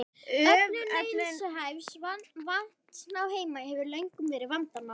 Öflun neysluhæfs vatns á Heimaey hefur löngum verið vandamál.